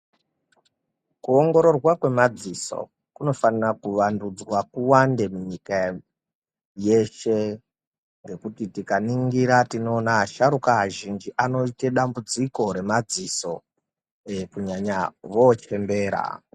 Kuongororwa kwemadziso kunofanira kuwandudzwa kuwande munyika yeshe ngekuti tikaningira tinoona asharukwa azhinji anoite dambudziko remadziso kunyanya vochembera.